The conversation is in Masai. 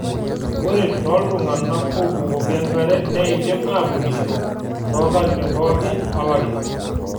Ore tooltung'anak obukoki enkare neidim atunishoto too nkatitin pooki olari.